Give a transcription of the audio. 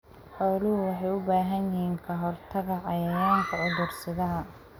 Xooluhu waxay u baahan yihiin ka-hortagga cayayaanka cudur-sidaha.